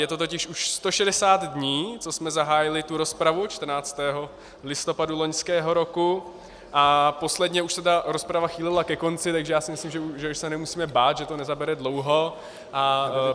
Je to totiž už 160 dní, co jsme zahájili tu rozpravu, 14. listopadu loňského roku, a posledně už se ta rozprava chýlila ke konci, takže já si myslím, že už se nemusíme bát, že to nezabere dlouho.